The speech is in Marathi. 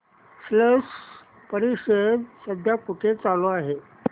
स्लश परिषद सध्या कुठे चालू आहे